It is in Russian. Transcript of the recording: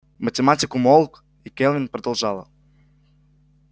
математик умолк и кэлвин продолжала